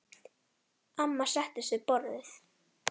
Amma settist við borðið.